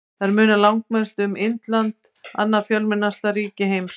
Þar munar langmest um Indland, annað fjölmennasta ríki heims.